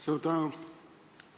Suur tänu!